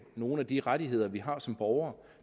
nogle af de rettigheder vi har som borgere